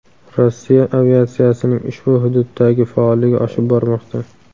Rossiya aviatsiyasining ushbu hududdagi faolligi oshib bormoqda.